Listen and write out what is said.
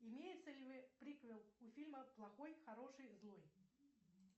имеется ли приквел у фильма плохой хороший злой